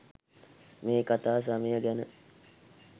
මේ කතා සමය ගැන